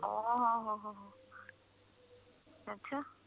ਓਹੋ ਹੋ ਅੱਛਾ